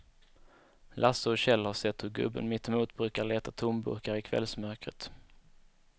Lasse och Kjell har sett hur gubben mittemot brukar leta tomburkar i kvällsmörkret.